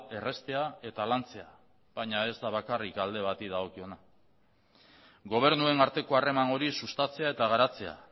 erraztea eta lantzea baina ez da bakarrik alde bati dagokiona gobernuen arteko harreman hori sustatzea eta garatzea